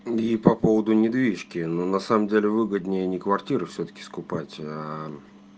и по поводу недвижки но на самом деле выгоднее не квартиры всё-таки скупать